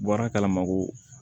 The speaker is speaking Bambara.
Bɔra kala ma ko